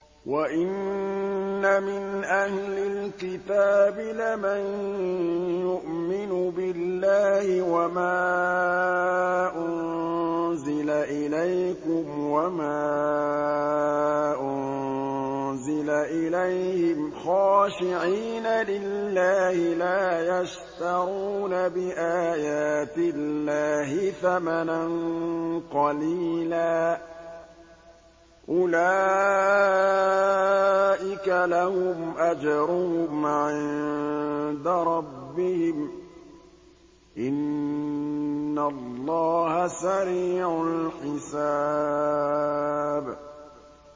وَإِنَّ مِنْ أَهْلِ الْكِتَابِ لَمَن يُؤْمِنُ بِاللَّهِ وَمَا أُنزِلَ إِلَيْكُمْ وَمَا أُنزِلَ إِلَيْهِمْ خَاشِعِينَ لِلَّهِ لَا يَشْتَرُونَ بِآيَاتِ اللَّهِ ثَمَنًا قَلِيلًا ۗ أُولَٰئِكَ لَهُمْ أَجْرُهُمْ عِندَ رَبِّهِمْ ۗ إِنَّ اللَّهَ سَرِيعُ الْحِسَابِ